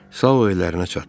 Sao evinə çatdı.